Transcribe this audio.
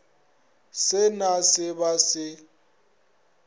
se na se ba se